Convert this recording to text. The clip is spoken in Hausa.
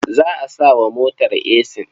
Za a sa wa motar esin?